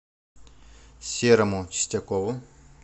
серому чистякову